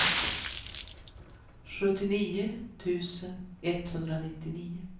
sjuttionio tusen etthundranittionio